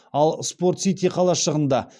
ал спорт сити қалашығында